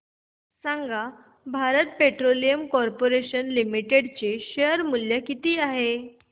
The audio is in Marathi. सांगा भारत पेट्रोलियम कॉर्पोरेशन लिमिटेड चे शेअर मूल्य किती आहे